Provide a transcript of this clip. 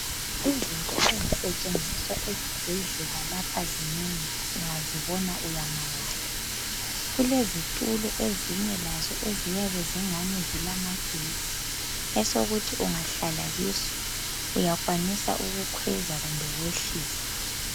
Izitulo ezisetshenziswa ezibhedlela lapha zinengi ungazibona uyamangala kulezitulo ezinye lazo eziyabe ezingani zilamagetsi esokuthi ungahlala kiso uyakwanisa ukukhweza kumbe ukwehlisa.